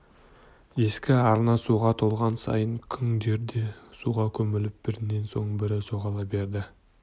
ескі арна суға толған сайын күңдер де суға көміліп бірінен соң бірі жоғала берді